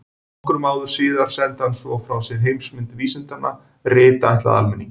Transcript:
Nokkrum árum síðar sendi hann svo frá sér Heimsmynd vísindanna, rit ætlað almenningi.